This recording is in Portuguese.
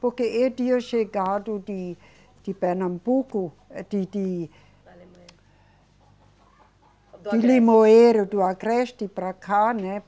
Porque eu tinha chegado de, de Pernambuco, eh, de, de. Alemanha. De Limoeiro do Agreste para cá, né?